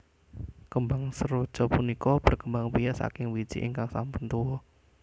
Kembang seroja punika berkembang biak saking wiji ingkang sampun tuwa